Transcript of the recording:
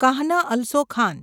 Kahn also Khan